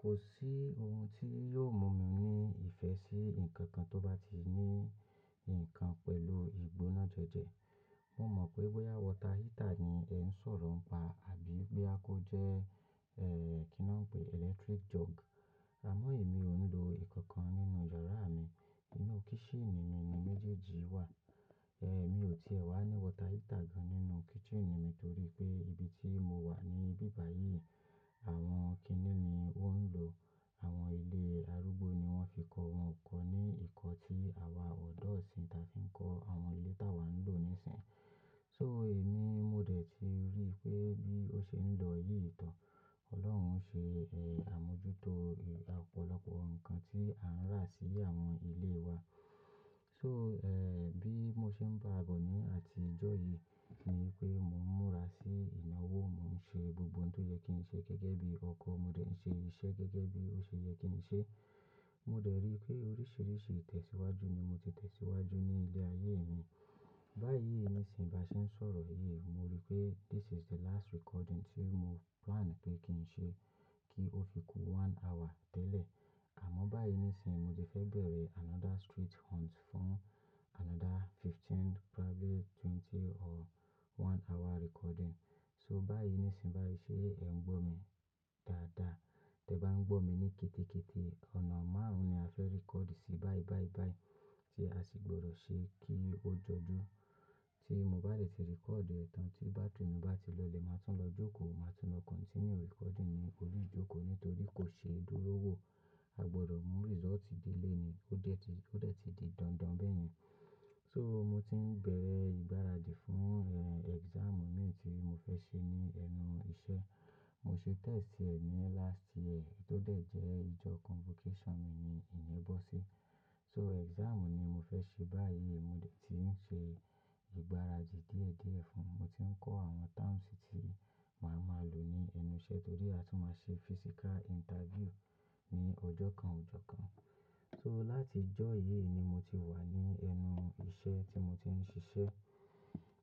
Kò sí ohun tí yóò mú mi ní ìfẹ́ sí ǹkan kan tó bá ti ní ǹkan pẹ̀lú ìgbóná jẹjẹ. Mo mọ̀ pé water heater ni ẹ ń sọ̀rọ̀ ń pa àbí boya kó jẹ́, ẹ́, kí ni wọ́n ń pè, electric jug. Àmọ́ èmi ò ń lo ìkankan nínú yàrá mi. Nínú kitchen ni mi ni méjèèjì wà. Ẹ̀, mi ò ti o tie wá ní water heater gan nínú kitchen mi torí pé ibi tí mo wà ní bíbàyí àwọn kínni ní wọ́n ń lò. Àwọn ilé arúgbó ni wọ́n fi kọ, wọn kò ní ìkọ́ tí àwa ọ̀dọ́ isìn tà fi ń kọ́ àwọn ilé tá wà ń lò nísìínyi. So èmi mo dẹ̀ ti rí pé bí ó ṣe ń lọ yìí gan. Ọlọ́run ń ṣe, ẹ́, àmójútó ọ̀pọ̀lọpọ̀ ǹkan tí a ń rà sí àwọn ilé wa. So, ẹ́, bi mo ṣe ń bá bọ̀ ní àti ìjọ yìí ni pé mò ń múra sí ìnáwó, mò ń ṣe gbogbo ohun tó yẹ kí n ṣe gẹ́gẹ́ bí ọkọ, mo dẹ̀ ń ṣe iṣẹ́ gẹ́gẹ́ bí ó ṣe yẹ kí n ṣe. Mo dẹ̀ rí pé oríṣiríṣi ìtẹ̀síwájú ni mo ti tẹ̀síwájú ní ilé ayé mi. Báyìí nísìínyi bá ṣe ń sọ̀rọ̀ yìí, mo rí pé this is the last recording tí mo plan pé kí n ṣe kí ó fi ku one hour tẹ́lẹ̀. Àmọ́ báyìí nísìínyi mo ti fẹ́ bẹ̀rẹ̀ another street hunt fún another fifteen probably twenty or one hour recording. So báyìí nísìínyi bá ṣe ẹ̀ ń gbó mi dáadáa. Tẹ bá ń gbó mi ní kété kété ọ̀nà márùn-ún ni a fẹ́ record sí báibáíbái tí a sì gbọdọ̀ ṣe kí ó jọjú. Tí mo bá dẹ̀ ti record ẹ̀tàn tí battery mi bá ti lọlẹ̀, màá tún lọ jókòó, màá tún lọ continue recording ní orí ìjókòó nítorí kò ṣe é dúró wò. A gbọdọ̀ mú result dé ilé ni. Ó dẹ̀ ti, ó dẹ̀ ti di dandan bẹ́yẹn. So mo ti ń bẹ̀rẹ̀ ìgbáradì fún, ẹ́, exam mi tí mo fẹ́ ṣe ní ẹnu iṣẹ́. Mo ṣe test ẹ̀ ní last year tó dẹ̀ jẹ́ ìjọ convocation mi ni ìyén bọ̀sí. So exam ni mo fẹ́ ṣe báyìí, mo dẹ̀ ti ń ṣe ìgbáradì díẹ̀díẹ̀ fún un. Mo ti ń kọ́ àwọn terms tí màá máa lò ní ẹnu iṣẹ́ torí a tún máa ṣe physical interview ní ọjọ́ kan ọjọ́ kan. So láti ìjọ yìí ni mo ti wà ní ẹnu iṣẹ́ tí mo ti ń ṣiṣẹ́.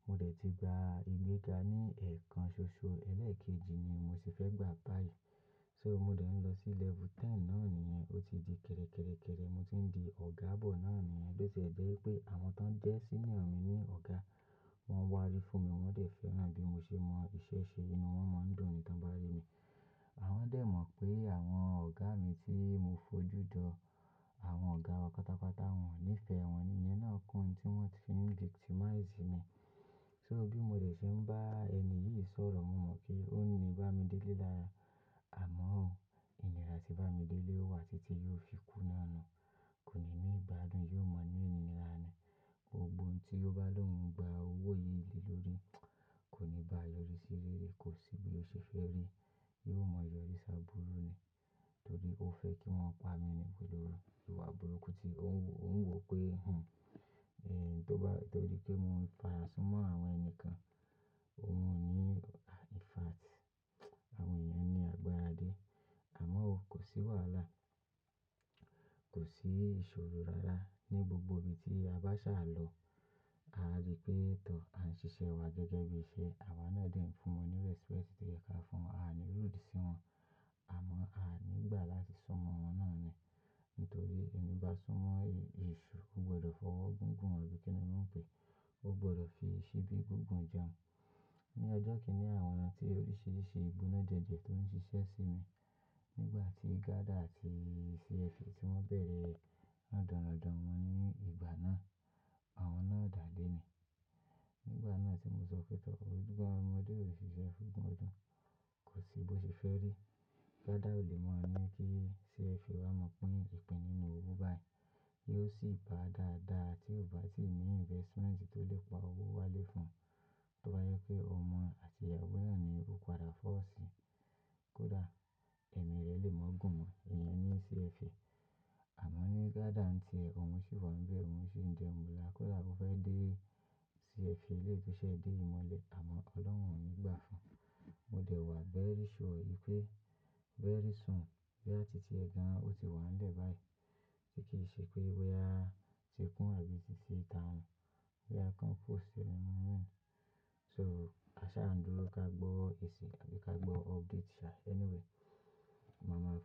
Mo dẹ̀ ti gba ìgbéga ní ẹ̀ẹ̀kan ṣoṣo ẹlẹ́ẹ̀kejì ni mo ti fẹ́ gbà báyìí. So mo dẹ̀ ń lọ sí level ten náà nìyẹn, ó ti di kẹ́rẹ̀kẹ́rẹ̀kẹ́rẹ̀. Mo ti ń di ọ̀gá bọ̀ náà nìyẹn bó ti ẹ̀ jẹ́ wípé àwọn tó ń jẹ́ senior mi ní ọ̀gá wọ́n wá rí fún mi, wọ́n dẹ̀ fẹ́ràn bí mo ṣe mọ iṣẹ́ ṣe nínú wọn, wọ́n mọ̀ ń dùn ni tán bá rí mi. Àwọn dẹ̀ mọ̀ pé àwọn ọ̀gá mi tí mo fojú jọ, àwọn ọ̀gá wa pátápátá wọn ò nífẹ̀ẹ́ wọn ni, ìyẹn náà kún tí wọ́n ti fi ń victimize mi. So bí mo dẹ̀ ṣe ń bá ẹni yìí sọ̀rọ̀, mo mọ̀ pé ó ní Bámidélé lára. Àmọ́ ohun, ìnira tí Bámidélé ó wà títí yóò fi kú náà ni. Kò ní ní ìgbádùn, yóò maa ní ìníra ni. Ohun gbogbo tí ó bá lòun gba owó yìí lé lórí, kò ní bá a yo rí sí rere, kò sí bí ó ṣe fẹ́ rí. Yóò mọ ìyọ̀rí sá'burú ni torí ó fẹ́ kí wọn pa mi ni gbólóru. Ó wà burúkú tí ó ń wò pé, hùn, ẹ́, tó bá-- torí pé mo ń farasú mọ́ àwọn ẹni kan, òun ò ní, in fact, àwọn èèyàn ni àgbàradé. Àmọ́ ó, kò sí wàhálà, kò sí ìṣòro rárá ní gbogbo ibi tí a bá ṣà lọ. A rí pé tọ̀, à ń ṣiṣẹ́ wa gẹ́gẹ́ bí iṣẹ́. Àwa náà dẹ̀ ń fún wọn ní respect tí ó yẹ kí a fún wọn, a ò ní rúdi sí wọn. Àmọ́ a ò ní gbà láti sún mọ́ wọn náà ni. Nítorí ẹni bá sún mọ́ e-esu, ó gbọdọ̀ fọwọ́ gígùn rẹ̀ bí kí ni wọ́n ń pe? Ó gbọdọ̀ fi síbí gígùn jẹun. Ni ọjọ́ kìíní àwòn tí oríṣiríṣi ìgbóná jẹjẹ tó ń ṣiṣẹ́ sí mi nígbà tí Gada àti CFA tí wọ́n bẹ̀rẹ̀ rọ̀dọ̀nrọ̀dọ̀n won ní ìgbà náà, àwọn náà dà leni. Nígbà náà tí mo sọ pé tọ̀, gbogbo ọmọdé ò ṣiṣẹ́ fún gbọdọ̀. Kò sí bí ó ṣe fẹ́ rí. Gada ò lè maa ní kí CFA wá maa pín ìpín nínú owó báyìí. Yóò sì gba dáadáa tí ó bá ti ní investment tó lè pa owó wálé fún un. Tó bá yẹ pé ọmọ àti ìyàwó náà ni ó padà fọ́ ọ sí, kódà ẹ̀mí rẹ lè mọ́ gùn mọ́, ìyẹn ni CFA. Àmọ́ ní Gada ń ti ẹ, òun sì wa ńbe, òun sì ń jẹ́ mula e. Kódà ó fẹ́ dé CFA, eleyii to sẹ́ dé ìmọ́lẹ̀ àmọ́ Ọlọ́run ò ní gbà fún un. Mo dẹ̀ wà veri sure wipé vẹ̀ri sùn boya ti ẹ̀ gan, ó ti wà nílẹ̀ báyìí. Kí kì í ṣe pé wẹ́á tí kún àbí ti síta hun. Wẹ́á kan fo ceremony. So aṣá ń dúró ká gbọ́ èsì àbí ká gbọ́ update ṣá. Anyway, màmá ra.